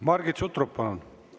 Margit Sutrop, palun!